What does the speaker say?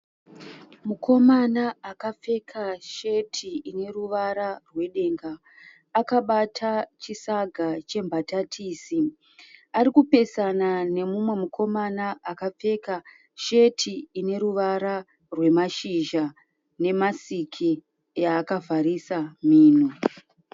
Mukomana akapfeka sheti ineruvara rwedenga. Akabata chisaga chembatatisi. Arikupesana nemumwe mukomana akapfeka sheti ineruvara rwemashizha nemasiki yaakavharisa mhino.